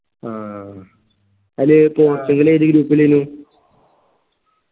അഹ് അത് പോർച്ചുഗൽ ഏത് group ലയിന്നു